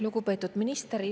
Lugupeetud minister!